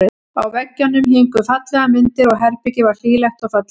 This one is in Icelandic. Á veggjunum héngu fallegar myndir og herbergið var hlýlegt og fallegt.